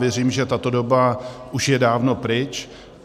Věřím, že tato doba už je dávno pryč.